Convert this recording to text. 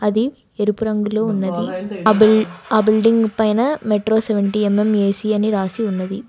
అది ఎరుపు రంగులో ఉన్నది ఆ బిల్డ్ బిల్డింగ్ పైన metro seventy M M AC అని రాసి ఉన్నది.